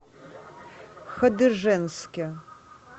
хадыженске